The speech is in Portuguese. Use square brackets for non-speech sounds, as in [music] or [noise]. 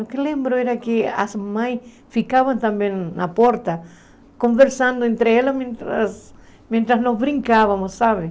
O que eu lembro era que as mães ficavam também na porta conversando entre elas, [unintelligible] nós brincávamos, sabe?